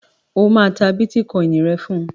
O máa ta bítíkọìnì rẹ fún.